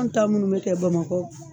An ta munnu be kɛ bamakɔ